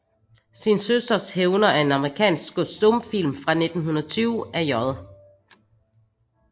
Sin Søsters Hævner er en amerikansk stumfilm fra 1920 af J